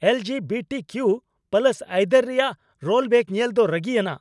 L G B T Q + ᱟᱹᱭᱫᱟᱹᱨ ᱨᱮᱭᱟᱜ rollback ᱧᱮᱞ ᱫᱚ ᱨᱟᱹᱜᱤᱭᱟᱱᱟᱜ ᱾